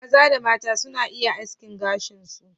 Maza da mata suna iya askin gashin su.